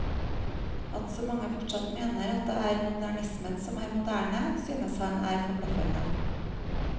At så mange fortsatt mener at det er modernismen som er moderne, synes han er forbløffende.